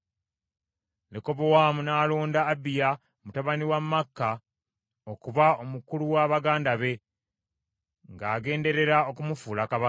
Lekobowaamu n’alonda Abiya mutabani wa Maaka okuba omukulu wa baganda be, ng’agenderera okumufuula kabaka.